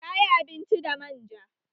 Ta yi abinci da man ja